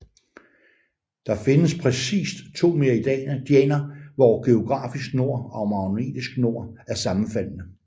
Der findes præcist to meridianer hvor geografisk nord og magnetisk nord er sammenfaldne